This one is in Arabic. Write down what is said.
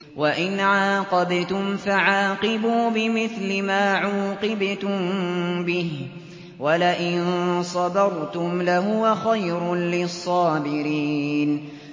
وَإِنْ عَاقَبْتُمْ فَعَاقِبُوا بِمِثْلِ مَا عُوقِبْتُم بِهِ ۖ وَلَئِن صَبَرْتُمْ لَهُوَ خَيْرٌ لِّلصَّابِرِينَ